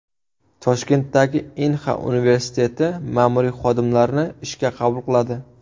Toshkentdagi Inha universiteti ma’muriy xodimlarni ishga qabul qiladi.